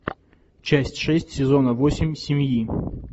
часть шесть сезона восемь семьи